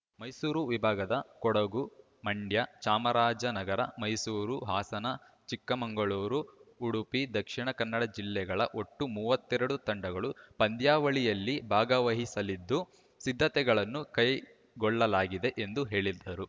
ಮೈಸೂರು ವಿಭಾಗದ ಕೊಡಗು ಮಂಡ್ಯ ಚಾಮರಾಜನಗರ ಮೈಸೂರು ಹಾಸನ ಚಿಕ್ಕಮಂಗಳೂರು ಉಡುಪಿ ದಕ್ಷಿಣ ಕನ್ನಡ ಜಿಲ್ಲೆಗಳ ಒಟ್ಟು ಮೂವತ್ತೆರಡು ತಂಡಗಳು ಪಂದ್ಯಾವಳಿಯಲ್ಲಿ ಭಾಗವಹಿಸಲಿದ್ದು ಸಿದ್ಧತೆಗಳನ್ನು ಕೈಗೊಳ್ಳಲಾಗಿದೆ ಎಂದು ಹೇಳಿದರು